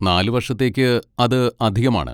നാല് വർഷത്തേക്ക് അത് അധികമാണ്.